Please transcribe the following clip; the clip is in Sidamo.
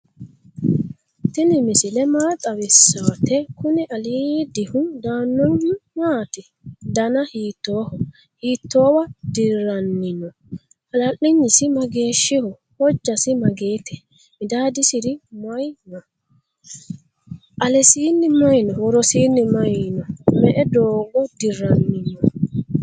tini misile maa xawisawote? kuuni aliddini daanohu matti? dana hitoho? hiitowa dirannino? hala'linyisi mageshiho? hoojasi magette? midadisir maayi no?alesinni mayi no?worosinni mayi no?me"e dogo dirani no?